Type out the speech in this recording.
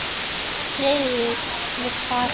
Friðrik vildi fara.